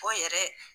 O yɛrɛ